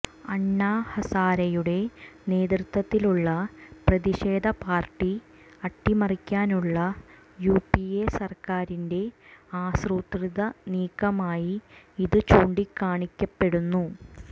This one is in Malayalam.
അണ്ണാ ഹസാരെയുടെ നേതൃത്വത്തിലുള്ള പ്രതിഷേധപരിപാടി അട്ടിമറിക്കാനുള്ള യുപിഎ സര്ക്കാരിന്റെ ആസൂത്രിത നീക്കമായി ഇത് ചൂണ്ടിക്കാണിക്കപ്പെടുന്നു